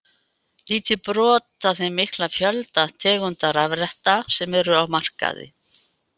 Lítið brot af þeim mikla fjölda tegunda rafretta sem eru á markaði.